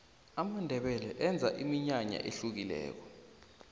amandebele enza iminyanaya ehlukileko